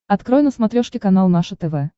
открой на смотрешке канал наше тв